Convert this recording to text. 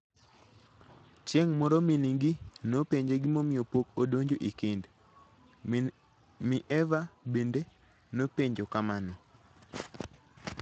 Chieng' moro min-gi nopenje gimomiyo pok odonjo e kend, mi Eva bende nopenje kamano.